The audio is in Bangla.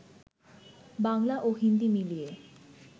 বাংলা ও হিন্দি মিলিয়ে